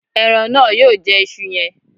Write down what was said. Ẹran náà yóò jẹ isu yẹn